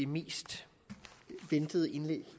mest ventede indlæg